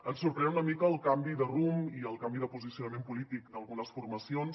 ens sorprèn una mica el canvi de rumb i el canvi de posicionament polític d’algunes formacions